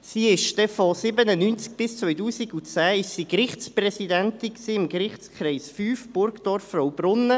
Sie war von 1997 bis 2010 Gerichtspräsidentin im Gerichtskreis V, Burgdorf-Fraubrunnen.